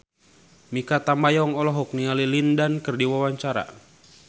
Mikha Tambayong olohok ningali Lin Dan keur diwawancara